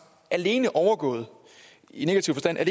alene overgået i negativ forstand af